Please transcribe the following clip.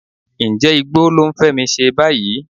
Ǹjẹ́ igbó ló ń Fẹ́mi ṣe báyìí?